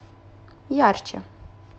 ярче